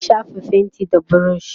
ya shafa fainti da burush